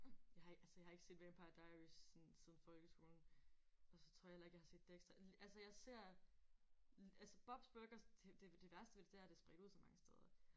Jeg har ikke altså jeg har ikke set vampire diaries sådan siden folkeskolen og så tror jeg heller ikke jeg har set Dexter altså jeg ser altså Bobs Bruger det det værste ved det er det er spredt ud så mange steder